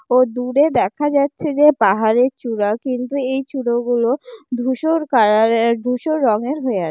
ও দূরে দেখা যাচ্ছে যে পাহাড়ের চূড়া। কিন্তু এই চূড় গুলো ধূসর কালারের ধূসর রঙের হয়ে আ--